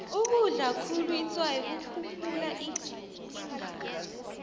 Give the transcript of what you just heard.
ukudlakhulu itswayi kukhuphula igazi